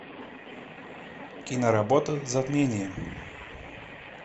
киноработа затмение